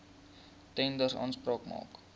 tenders aanspraak maak